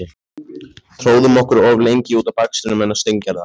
Tróðum okkur of lengi út á bakstrinum hennar Steingerðar.